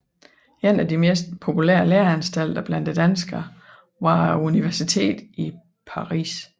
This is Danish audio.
En af de mest populære læreanstalter blandt danskerne var universitetet i Paris